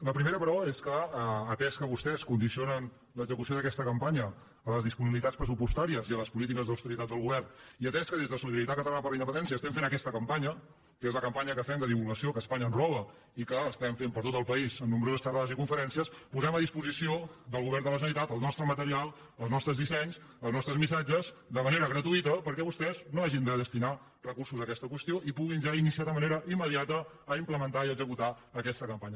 la primera però és que atès que vostès condicionen l’execució d’aquesta campanya a les disponibilitats pressupostàries i a les polítiques d’austeritat del go·vern i atès que des de solidaritat catalana per la in·dependència fem aquesta campanya que és la campa·nya que fem de divulgació que espanya ens roba i que fem per tot el país en nombroses xerrades i conferèn·cies posem a disposició del govern de la generali·tat el nostre material els nostres dissenys els nostres missatges de manera gratuïta perquè vostès no hagin de destinar recursos a aquesta qüestió i puguin ja co·mençar de manera immediata a implementar i execu·tar aquesta campanya